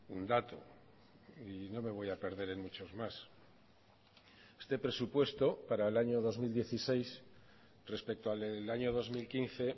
un dato y no me voy a perder en muchos más este presupuesto para el año dos mil dieciséis respecto al del año dos mil quince